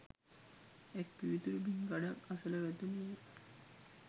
එක් පිවිතුරු බිම් කඩක් අසල නැවතුණේ ය.